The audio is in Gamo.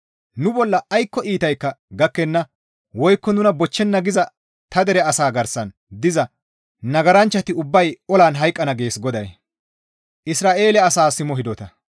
‹Nu bolla aykko iitaykka gakkenna woykko nuna bochchenna› giza ta dere asaa garsan diza nagaranchchati ubbay olan hayqqana» gees GODAY.